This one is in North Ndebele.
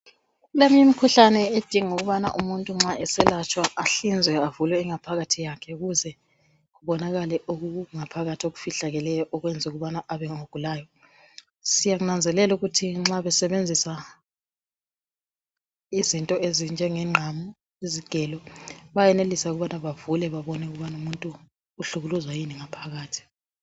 Kuleminye imikhuhlane edinga ukubana umuntu nxa eselatshwa ahlinzwe bavule ingaphakathi yakhe ukuze kubonakale okungaphakathi okufihlakeleyo ukwenza ukubana abengogulayo. Siyakunanazelela ukuthi nxa besebenzisa izinto ezinjenge ngqamu, izigelo bayenelisa ukubana bavule babone ukubana umuntu uhlukuluzwa yini ngaphakathi.